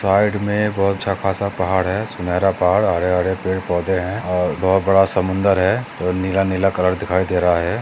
Side मे बहुत सा खासा पहाड़ है सुनेरा पहाड़ हरे हरे पेड पौदे है और बहुत बड़ा समंदर है और नीला नीला कलर दिखाई दे रहा है।